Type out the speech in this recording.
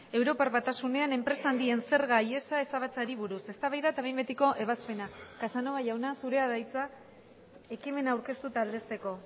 europar batasunean enpresa handien zerga ihesa ezabatzeari buruz eztabaida eta behin betiko ebazpena casanova jauna zurea da hitza ekimena aurkeztu eta aldezteko